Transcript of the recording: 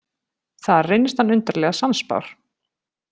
Þar reynist hann undarlega sannspár.